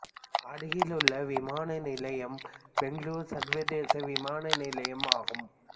அருகில் உள்ள விமான நிலையம் பெங்களூரு சர்வதேச விமான நிலையம் ஆகும்